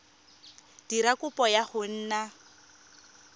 dira kopo ya go nna